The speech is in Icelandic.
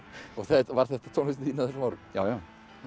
var þetta tónlistin þín á þessum árum já já